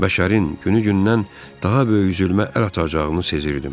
Bəşərin günü-gündən daha böyük zülmə əl atacağını sezirdim.